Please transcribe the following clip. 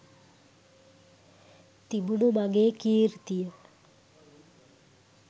තිබුණු මගේ කීර්තිය